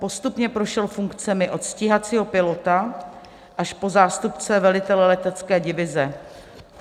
Postupně prošel funkcemi od stíhacího pilota až po zástupce velitele letecké divize.